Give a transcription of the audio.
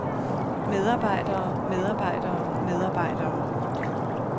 medarbejdere medarbejdere medarbejdere